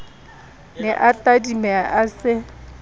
ne a tadimeha a se